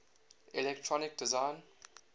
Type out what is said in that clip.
electronic design